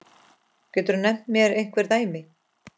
Geturðu nefnt mér einhver dæmi?